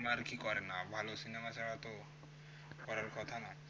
আরে না ভালো সিনেমা ছাড়া তো করার কথা না